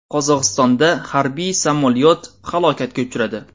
Qozog‘istonda harbiy samolyot halokatga uchradi.